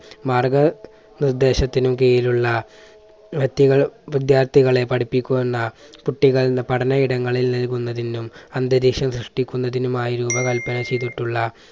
മാർഗനിർദ്ദേശത്തിനു കീഴിലുള്ള വിദ്യാർത്ഥികളെ പഠിപ്പിക്കുന്ന കുട്ടികളുടെ പഠന ഇടങ്ങളിൽ നൽകുന്നതിനും അന്തരീക്ഷം സൃഷ്ടിക്കുന്നതിനുമായി രൂപകല്പന ചെയ്തിട്ടുള്ള